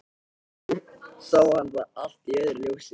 En nú sá hann það allt í öðru ljósi.